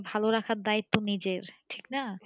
ভালো রাখার দায়িত্ত্ব নিজের ঠিক না?